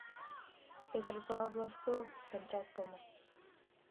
петропавловску камчатскому